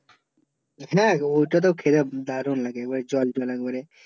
হ্যাঁ ওইটা তো খেতে দারুন লাগে জল জল একে বারে